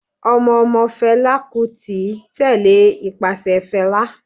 Ọmọ ọmọ Fela Kuti tẹ́lẹ̀ ipase Fela.